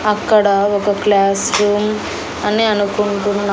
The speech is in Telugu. అక్కడ ఒక క్లాస్ రూమ్ అని అనుకుంటున్నా.